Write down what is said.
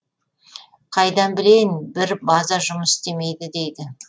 қайдан білейін бір база жұмыс істемейді дейді